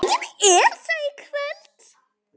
Engin Esja í kvöld.